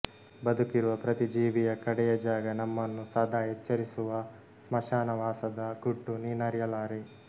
ಬದುಕಿರುವ ಪ್ರತಿಜೀವಿಯ ಕಡೆಯ ಜಾಗ ನಮ್ಮನ್ನು ಸದಾ ಎಚ್ಚರಿಸುವ ಸ್ಮಶಾನವಾಸದ ಗುಟ್ಟು ನೀನರಿಯಲಾರೆ